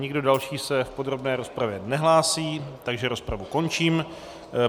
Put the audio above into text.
Nikdo další se v podrobné rozpravě nehlásí, takže rozpravu končím.